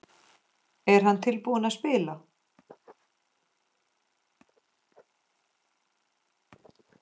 Er hann tilbúinn að spila?